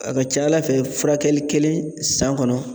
A ka ca Ala fɛ furakɛli kelen san kɔnɔ